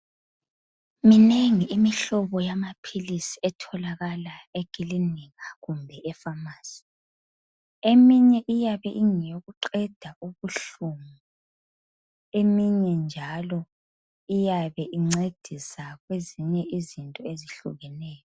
Minengi imihlobo yamaphilisi etholakla ekulinika kumbe efamasi . Eminye iyabe ingeyokuqeda ubuhlungu, eminye njalo iyabe incedisa kwezinye izinto ezihlukeneyo.